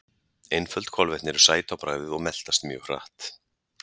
einföld kolvetni eru sæt á bragðið og meltast mjög hratt